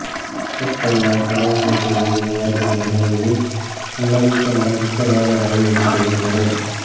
ಪಕ್ಕದ ಪರಾಗ್ ಹೋಟೆಲ್ಲಿಗೆ ಕರೆದುಕೊಂಡು ಹೋಗಿ ನೆನಪಿಟ್ಟು ನನಗಿಷ್ಟವಾದ ರವೆ ಇಡ್ಲಿ ಕೊಡಿಸಿದರು